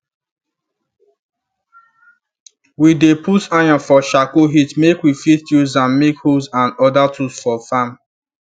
we dey put iron for charcoal heat make we fit use am make hoes and other tools for farm